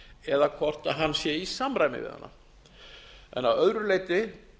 eða hvort hann sé í samræmi við hana en að öðru leyti